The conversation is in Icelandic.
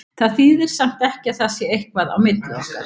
Það þýðir samt ekki að það sé eitthvað á milli okkar.